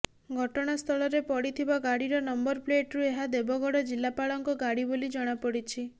ଘଟଣାସ୍ଥଳରେ ପଡିଥିବା ଗାଡିର ନମ୍ବର ପ୍ଳେଟରୁ ଏହା ଦେବଗଡ ଜିଲ୍ଲାପାଳଙ୍କ ଗାଡି ବୋଲି ଜଣାପଡିଛି